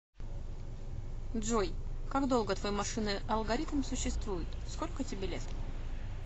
джой как долго твой машинный алгоритм существует сколько тебе лет